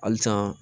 Halisa